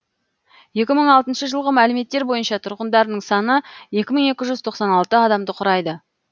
екі мың алтыншы жылғы мәліметтер бойынша тұрғындарының саны екі мың екі жүз тоқсан алты адамды құрайды